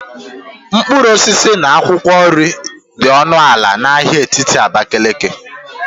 mkpụrụ osisi na akwụkwọ nri dị ọnụ ala na ahịa etiti Abakaliki